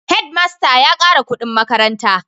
Head master ya kara kudin makaranta